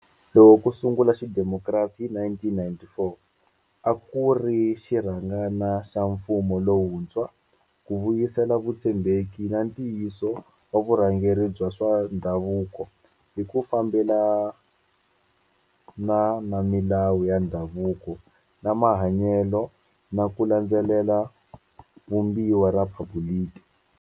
Loko ku sungula xidemokirasi hi 1994, a ku ri xirhangana xa mfumo lowuntshwa ku vuyisela vutshembeki na ntiyiso wa vurhangeri bya swa ndhavuko hi ku fambelana na milawu ya ndhavuko na mahanyelo na ku landzelela Vumbiwa ra Riphabuliki.